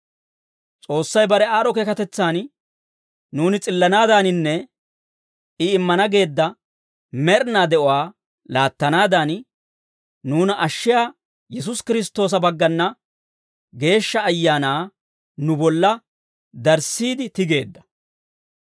S'oossay bare aad'd'o keekatetsan nuuni s'illanaadaaninne, I immana geedda med'inaa de'uwaa laattanaadan, nuuna ashshiyaa Yesuusi Kiristtoosa baggana Geeshsha Ayaanaa nu bolla darissiide tigeedda.